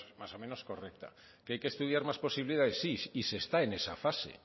vamos o menos correcta que hay que estudiar más posibilidades sí y se está en esa fase